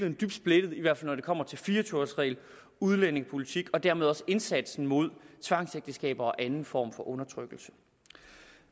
er dybt splittet i hvert fald når det kommer til fire og tyve års reglen udlændingepolitik og dermed også indsatsen mod tvangsægteskaber og anden form for undertrykkelse